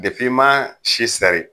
Depi ma si sɛri